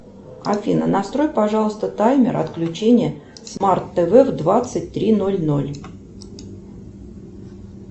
афина настрой пожалуйста таймер отключения смарт тв в двадцать три ноль ноль